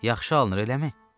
Yaxşı alınır, eləmi?